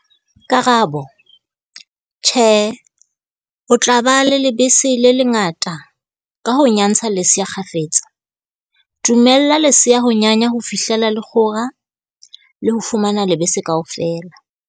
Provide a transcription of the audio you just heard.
Karabo- Tjhe, o tla ba le lebese le le ngata ka ho nyantsa lesea kgafetsa. Dumella lesea ho nyanya ho fihlela le kgora, le ho fumana lebese kaofela.